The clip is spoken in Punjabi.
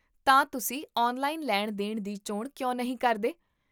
ਤਾਂ, ਤੁਸੀਂ ਔਨਲਾਈਨ ਲੈਣ ਦੇਣ ਦੀ ਚੋਣ ਕਿਉਂ ਨਹੀਂ ਕਰਦੇ ?